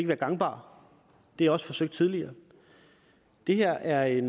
være gangbart det er også forsøgt tidligere det her er en